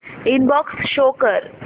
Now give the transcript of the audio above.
inbox show कर